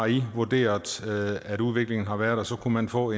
de vurderer at udviklingen har været og så kunne man få